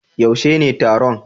yaushe ne taron?